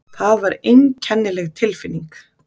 Það var einkennileg tilfinning.